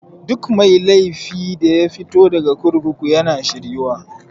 Duk mai laifi daya fito daga kurkuku yana shir yuwa.